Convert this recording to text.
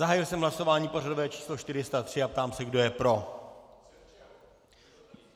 Zahájil jsem hlasování pořadové číslo 403 a ptám se, kdo je pro.